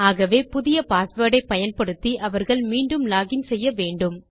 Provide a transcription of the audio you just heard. ஆகவே புதிய பாஸ்வேர்ட் ஐ பயன்படுத்தி அவர்கள் மீண்டும் லோகின் செய்ய வேண்டும்